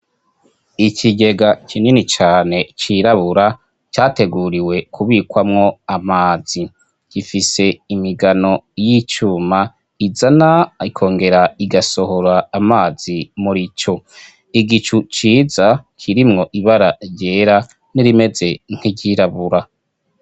Ikigega kinini cane cirabura categuriwe kubikwamwo amazi, gifise imigano y'icuma izana ikongera igasohora amazi murico, igicu ciza kirimwo ibara ryera n'irimeze nk'iryirabura.